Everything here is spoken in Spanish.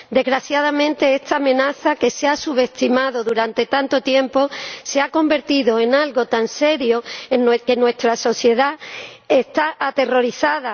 Desgraciadamente, esta amenaza, que se ha subestimado durante tanto tiempo, se ha convertido en algo tan serio que nuestra sociedad está aterrorizada.